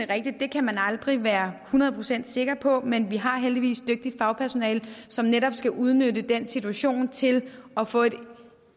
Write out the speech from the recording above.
at det kan man aldrig være hundrede procent sikker på men vi har heldigvis dygtigt fagpersonalet som netop skal udnytte den situation til at få et